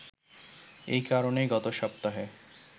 এই কারণেই গত সপ্তাহে